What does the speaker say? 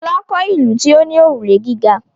Fọlá kọ́ ìlú tí ó ní òrùlé gíga.